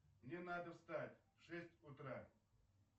мне надо встать в шесть утра